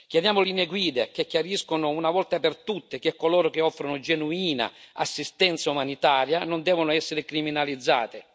Chiediamo linee guida che chiariscano una volta per tutte che coloro che offrono genuina assistenza umanitaria non devono essere criminalizzati.